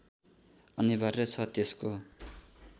अनिवार्य छ त्यसको